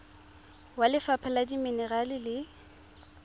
wa lefapha la dimenerale le